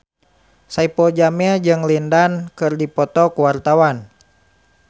Saipul Jamil jeung Lin Dan keur dipoto ku wartawan